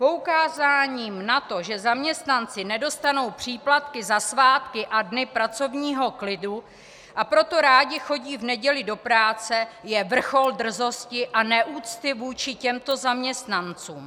Poukázání na to, že zaměstnanci nedostanou příplatky za svátky a dny pracovního klidu, a proto rádi chodí v neděli do práce, je vrchol drzosti a neúcty vůči těmto zaměstnancům!